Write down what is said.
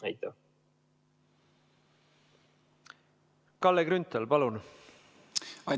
Kalle Grünthal, palun!